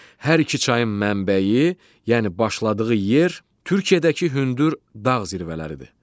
Hər iki çayın mənbəyi, yəni başladığı yer Türkiyədəki hündür dağ zirvələridir.